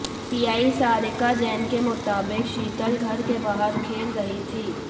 TI Sarika Jain के मुताबिक शीतल घर के बाहर खेल रही थी